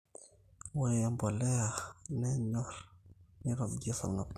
ore emboleya nanyorii neitobir esarngab